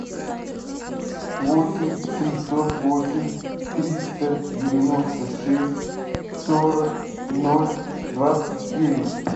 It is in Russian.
восемь семьсот восемь триста девяносто шесть сорок ноль двадцать девять